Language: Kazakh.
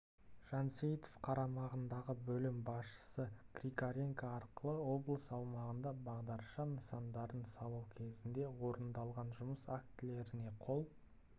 жансейітов қарамағындағы бөлім басшысы григоренко арқылы облыс аумағында бағдаршам нысандарын салу кезінде орындалған жұмыс актілеріне қол